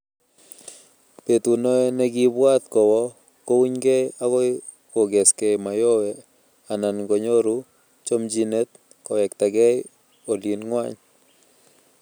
betunoe nekiibwat kowo kounykei akoi kokeskei Mayowe anan konyoru chomchinet kowektagei olin ng'wany